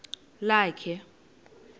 lakhe